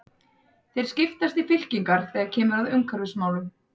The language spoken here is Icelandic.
Þeir skiptast í fylkingar þegar kemur að umhverfismálum.